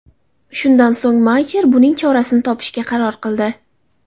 Shundan so‘ng Maycher buning chorasini topishga qaror qildi.